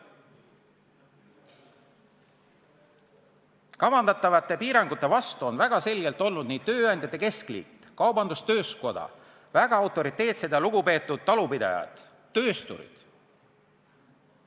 " Kavandatavate piirangute vastu on väga selgelt olnud Eesti Tööandjate Keskliit, Eesti Kaubandus-Tööstuskoda, väga autoriteetsed ja lugupeetud talupidajad, töösturid.